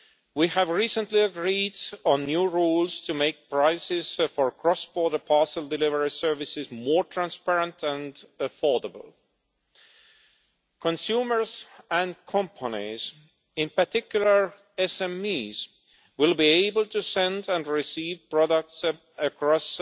We recently agreed on new rules to make prices for cross border parcel delivery services more transparent and affordable. Consumers and companies, in particular SMEs, will be able to send and receive products across